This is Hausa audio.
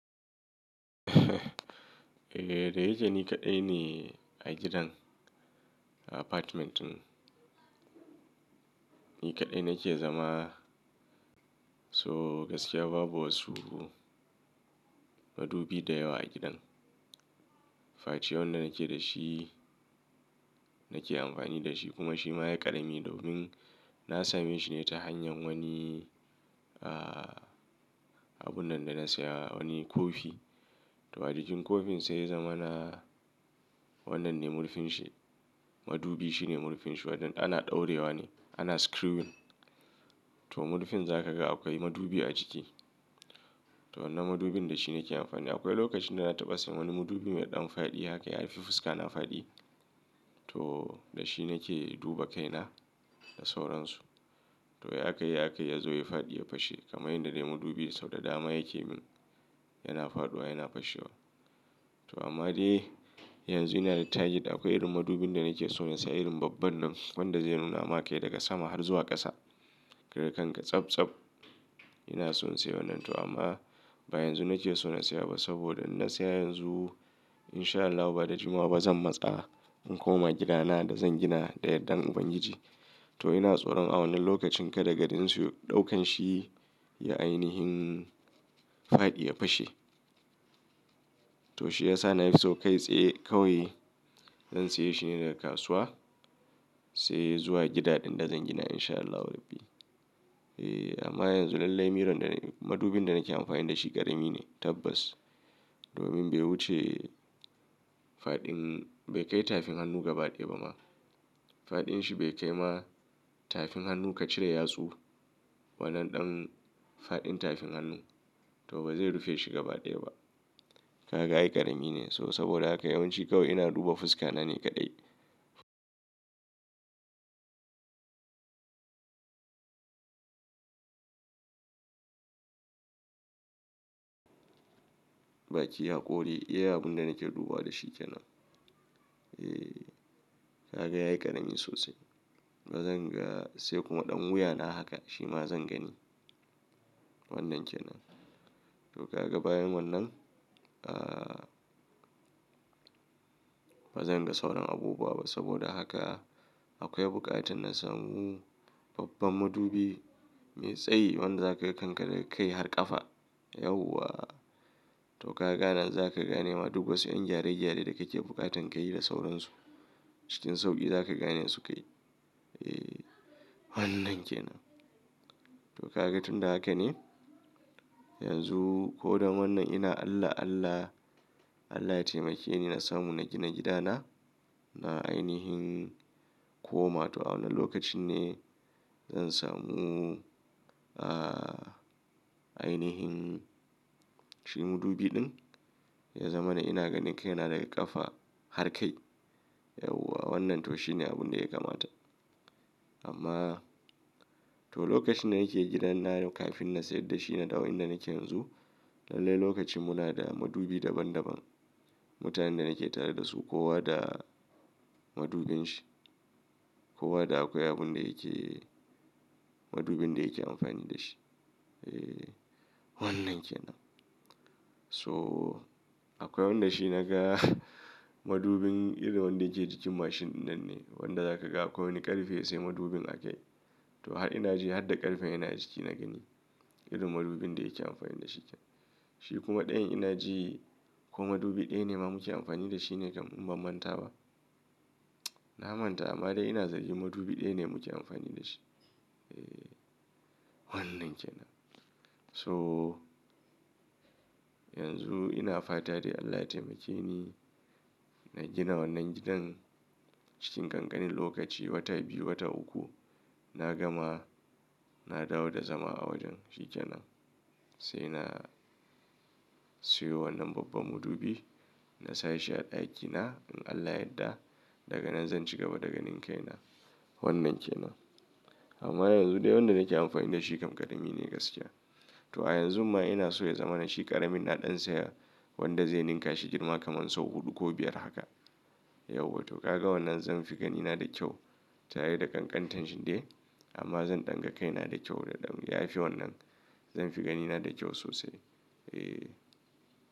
Eh, da yake ni kaɗai ne a gidan, a apartment ɗin. Ni kaɗai nake zama. So gaskiya babu wasu madubi da yawa a gidan. Face wanda nake da shi, nake amfani da shi kuma shi ma ya ƙarami domin na same shi ne ta hanyar wani, ah, abun nan da na saya wani kofi. To a jikin kofin sai ya zama na wannan ne murfin shi. Madubi shine murfin shi wanda ana ɗaurewa ne, ana screwing. To murfin za ka ga akwai madubi a ciki. To wannan madubin da shi nake amfani. Akwai lokacin da na taɓa siyan wani madubi mai ɗan faɗi haka ya haife fuska na faɗi. To da shi nake duba kaina da sauransu. To ya kai, ya kai ya zo ya faɗi ya fashe kamar yadda dai madubi sau da dama yake min. Yana faɗuwa yana fashewa. To amma dai yanzu ina da target. Akwai irin madubin da nake so na siya irin babban nan wanda zai nuna ma kai daga sama har zuwa ƙasa. Kaga kanka tsab tsab. Ina son siyo wannan to amma ba yanzu nake so na siya ba saboda in na siya yanzu in sha Allahu ba da jimawa ba zan matsa in koma gidana da zan gina da yardan Ubangiji. To ina tsoron a wannan lokacin ka da garin su ɗaukan shi ya ainihin faɗi ya fashe. To shi ya sa nafi so kai tsaye kawai zan siya shi ne daga kasuwa sai zuwa gida ɗin da zan gina in sha Allahu Rabbi. Eh amma yanzu lallai miron da ni madubin da nake amfani da shi ƙarami ne tabbas. Domin bai wuce faɗin bai kai tafin hannu gaba ɗaya ba ma. Faɗin shi bai kai ma tafin hannu ka cire yatsu wannan ɗan faɗin tafin hannun to ba zai rufe shi gaba ɗaya ba. Ka ga ai ƙarami ne so saboda haka yawanci kawai ina duba fuska na ni kaɗai. Baki, hakori, iya abun da nake duba da shi ke nan. Eh, ka ga yayi ƙarami sosai. Ba zan ga sai kuma ɗan wuya na haka shi ma zan gani. Wannan ke nan. To ka ga bayan wannan, ah, ba zan ga sauran abubuwa ba saboda haka akwai buƙatar na samu babban madubi mai tsayi wanda za ka kanka daga kai har ƙafa. Yauwa. To ka ga a nan za ka gane ma duk wasu 'yan gyare-gyare da kake buƙatan ka yi da sauransu. Cikin sauƙi za ka gane su kai. Eh, wannan ke nan. To ka ga tun da haka ne? Yanzu ko da wannan ina Allah, Allah, Allah ya taimake ni na samu na gina gidana. Na ainihin koma to a wanne lokacin ne zan samu, ah, ainihin shi madubi ɗin ya zama na ina ganin kaina daga ƙafa har kai. Yauwa wannan to shi ne abun da ya kamata. Amma to lokacin da nake gidan nan kafin na sayar da shi na dawo inda nake yanzu. Lallai lokacin muna da madubi daban daban. Mutanen da nake tare da su kowa da madubin shi. Kowa da akwai abun da yake madubin da yake amfani da shi. Eh, wannan ke nan. So akwai wanda shi na ga madubin irin wanda yake cikin mashin nan ne. Wanda za ka ga akwai wani ƙarfe ya sai madubin a kai. To har ina ji har da ƙarfen yana ciki na gani irin madubin da yake amfani da shi ke. Shi kuma ɗayan ina ji ko madubi ɗaya ne ma muke amfani da shi ne kam in ba manta ba. Na manta amma dai ina zarge madubi ɗaya ne muke amfani da shi. Eh, wannan ke nan. So yanzu ina fata dai Allah ya taimake ni na gina wannan gidan cikin ƙanƙanin lokaci wata biyu, wata uku na gama na dawo da zama a wajen shi ke nan. Sai na siyo wannan babban madubi na sa shi a ɗakina in Allah yadda daga nan zan ci gaba da ganin kaina. Wannan ke nan. Amma yanzu dai wanda nake amfani da shi kam ƙarami ne gaskiya. To a yanzu ma ina so ya zama na shi ƙaramin na ɗan saya wanda zai ninka shi girma kamar sau huɗu ko biyar haka. Yauwa to ka ga wannan zan fi ganina da kyau tare da ƙanƙantan shi dai amma zan ɗan ga kaina da kyau da ɗan. Yafi wannan zan fi ganina da kyau sosai. Eh.